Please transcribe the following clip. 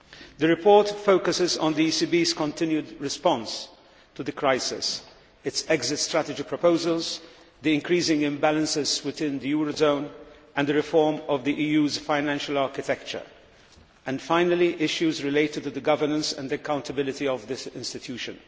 The report focuses on the ECB's continued response to the crisis, its exit strategy proposals, the increasing imbalances within the eurozone, the reform of the EU's financial architecture and, finally, issues related to the governance and accountability of this institution.